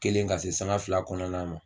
Kelen ka se saga fila kɔnɔna ma